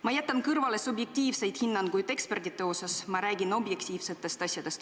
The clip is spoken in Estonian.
Ma jätan kõrvale subjektiivsed hinnangud ekspertide osas, ma räägin objektiivsetest asjadest.